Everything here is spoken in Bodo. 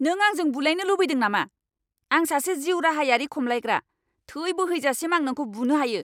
नों आंजों बुलाइनो लुबैदों नामा? आं सासे जिउराहायारि खमलायग्रा! थै बोहैजासिम आं नोंखौ बुनो हायो।